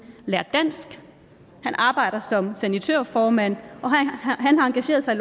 lært dansk han arbejder som sanitørformand og han har engageret sig